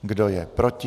Kdo je proti?